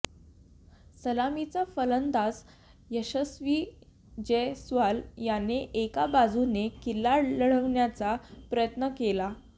सलामीचा फलंदाज यशस्वी जयस्वाल याने एका बाजूने किल्ला लढवण्याचा प्रयत्न केला